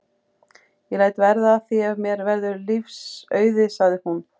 Ég læt verða af því ef mér verður lífs auðið sagði hún.